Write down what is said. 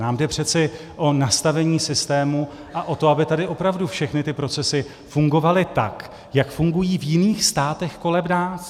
Nám jde přece o nastavení systému a o to, aby tady opravdu všechny ty procesy fungovaly tak, jak fungují v jiných státech kolem nás.